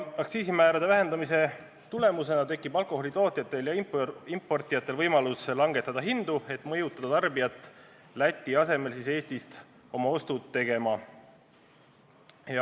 Aktsiisimäärade vähendamise tulemusena tekib alkoholi tootjatel ja importijatel võimalus langetada hindu, et mõjutada tarbijat Läti asemel Eestis oma ostud tegema.